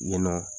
Yen nɔ